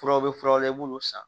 Furaw bɛ furaw la i b'olu san